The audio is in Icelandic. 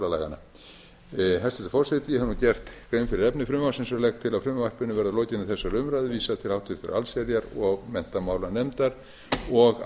hæstvirtur forseti ég hef nú gert grein fyrir efni frumvarpsins og legg til að frumvarpinu verði að lokinni þessari umræðu vísað til háttvirtrar allsherjar og menntamálanefndar og